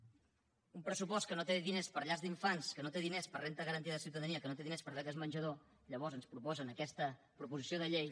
un pressupost que no té diners per a llars d’infants que no té diners per a renda garantida de ciutadania que no té dines per a beques menjador i llavors ens proposen aquesta proposició de llei